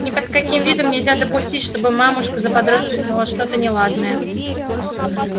ни под каким видом нельзя допустить чтобы мамушка заподозрила что-то неладное